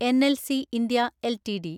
NLC India LTD